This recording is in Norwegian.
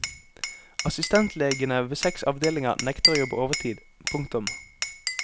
Assistentlegene ved seks avdelinger nekter å jobbe overtid. punktum